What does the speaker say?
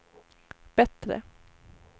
bättre